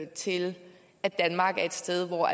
til at danmark er et sted hvor